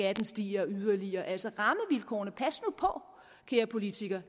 at stige yderligere altså kære politikere